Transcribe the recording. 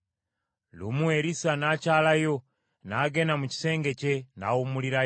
Lumu, Erisa n’akyalayo, n’agenda mu kisenge kye, n’awummulirako eyo.